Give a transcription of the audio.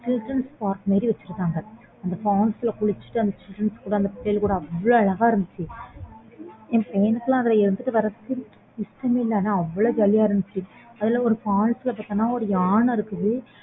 children's park மாதிரி வெச்சிருக்காங்க அந்த falls ல குளிச்சிட்டு அங்க பிள்ளைங்க கூட அவ்ளோ அழகா இருந்துச்சு எனக்கு லாம் எழுந்து வரதுக்கு இஷ்டமே இல்ல ஆனா அவ்ளோ jolly யா இருந்துச்சு அதுல ஒரு falls இருக்குது யானை இருக்குது